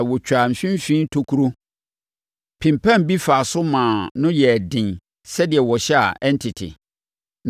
na wɔtwaa mfimfini tokuro pempam bi faa so maa ano no yɛɛ den sɛdeɛ wɔhyɛ a ɛrentete.